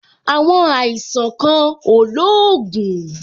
Àwọn àìsàn kan ò lóògùn